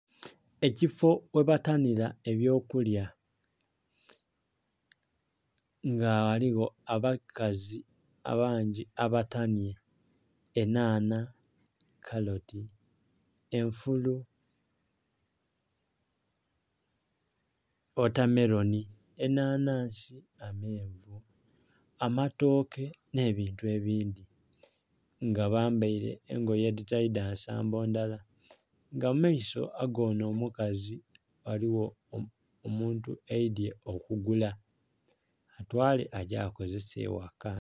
Ekifo ghebatanhira ebyokulya nga ghaligho abakazi abangi abatanhye enhanha, kaloti, enfulu, ghota meronhi, enhanhansi, amenvu, amatooke nhe bintu ebindhi nga bambeire engoye edhitali dhansambo ndhala nga mumaiso agonho omukazi ghaligho omuntu aidhye okugula atwale agye akozese eghaka.